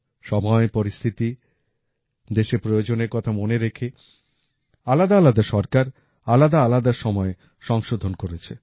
সময় পরিস্থিতি দেশের প্রয়োজনের কথা মনে রেখে আলাদাআলাদা সরকার আলাদাআলাদা সময়ে সংশোধন করেছে